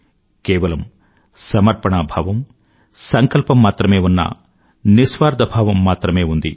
కేవలం సమర్పణా భావం సంకల్పం మాత్రమే ఉన్న నిస్వార్థభావం మాత్రమే ఉంది